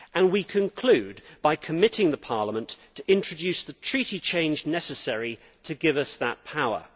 We conclude by committing Parliament to introducing the treaty change necessary to give us that power.